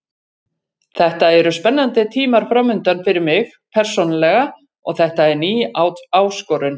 Þetta eru spennandi tímar framundan fyrir mig persónulega og þetta er ný áskorun.